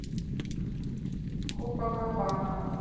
копакабана